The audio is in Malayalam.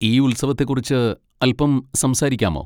ഈ ഉത്സവത്തെ കുറിച്ച് അൽപ്പം സംസാരിക്കാമോ?